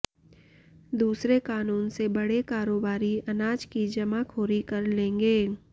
दूसरे कानून से बड़े कारोबारी अनाज की जमाखोरी कर लेंगे